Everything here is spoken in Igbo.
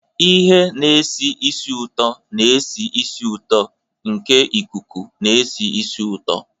Ihe na-esi ísì ụtọ na-esi ísì ụtọ nke ikuku na-esi ísì ụtọ.